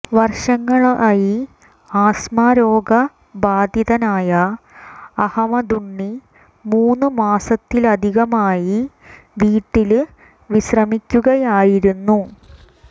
വര്ഷങ്ങളായി ആസ്മ രോഗ ബാധിതനായ അഹമ്മദുണ്ണി മൂന്ന് മാസത്തിലധികമായി വീട്ടില് വിശ്രമിക്കുകയായിരുന്നു